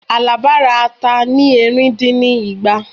Alaba ra ata ni ẹ̀rìn dín ní igba